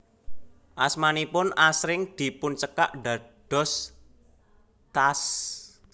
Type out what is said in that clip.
Asmanipun asring dipuncekak dados T A S